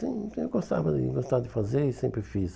Sim sim, eu gostava de gostava de fazer e sempre fiz.